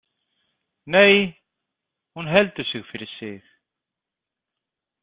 Nei, hún heldur sig fyrir sig.